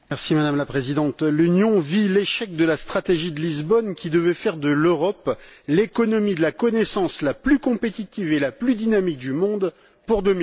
Madame la Présidente, l'Union vit l'échec de la stratégie de Lisbonne qui devait faire de l'Europe l'économie de la connaissance la plus compétitive et la plus dynamique du monde pour